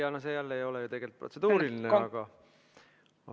Jaa, no see jälle ei ole ju tegelikult protseduuriline, aga ...